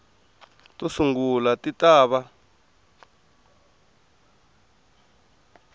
to sungula ti ta va